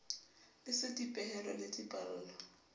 le c dipehelo le dipallo